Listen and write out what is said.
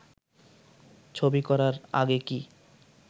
ছবি করার আগে কি